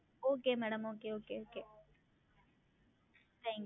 Okay MadamOkayOkayOkayThank